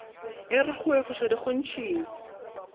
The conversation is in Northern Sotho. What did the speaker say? e ra go efošwa dikgontšhing